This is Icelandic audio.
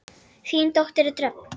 Þín dóttir Dröfn.